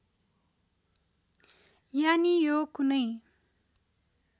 यानि यो कुनै